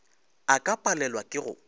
a ka palelwa ke go